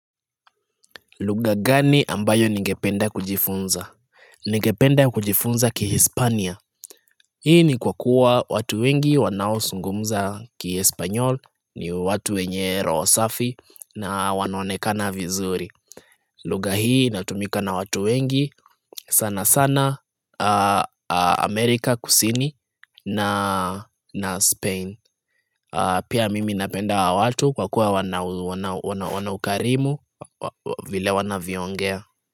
Lugha gani ambayo nigependa kujifunza? Nigependa kujifunza ki Hispania. Hii ni kwa kuwa watu wengi wanao zungumza ki espanol ni watu wenye roho safi na wanaonekana vizuri. Lugha hii inatumika na watu wengi sana sana Amerika kusini na Spain. Pia mimi napenda wa watu kwa kuwa wana ukarimu vile wanavyoongea.